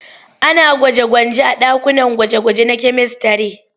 Ana gwaje-gwanje a ɗakunan gwaje-gwaje na kyamistare.